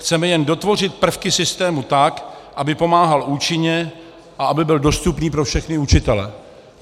Chceme jen dotvořit prvky systému tak, aby pomáhal účinně a aby byl dostupný pro všechny učitele.